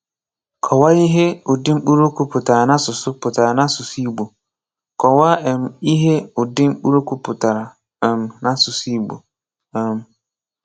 Kọ̀wáà ihe ùdị̀ mkpụrụ́okwu pụtara n’ásụsụ́ pụtara n’ásụsụ́ Ìgbò.Kọ̀wáà um ihe ùdị̀ mkpụrụ́okwu pụtara um n’ásụsụ́ Ìgbò. um